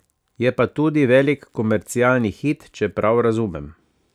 Je pa tudi velik komercialni hit, če prav razumem.